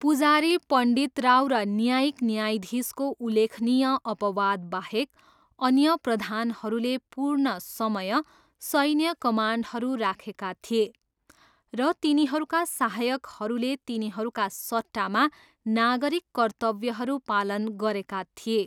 पुजारी पण्डितराव र न्यायिक न्यायाधीशको उल्लेखनीय अपवादबाहेक, अन्य प्रधानहरूले पूर्ण समय सैन्य कमान्डहरू राखेका थिए र तिनीहरूका सहायकहरूले तिनीहरूका सट्टामा नागरिक कर्तव्यहरू पालन गरेका थिए।